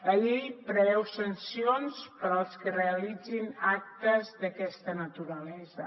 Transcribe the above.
la llei preveu sancions per als qui realitzin actes d’aquesta naturalesa